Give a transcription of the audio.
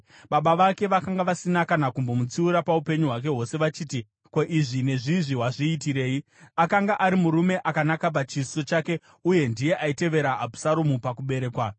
Baba vake vakanga vasina kana kumbomutsiura paupenyu hwake hwose vachiti, “Ko, izvi nezvizvi wazviitirei?” Akanga ari murume akanaka pachiso chake uye ndiye aitevera Abhusaromu pakuberekwa.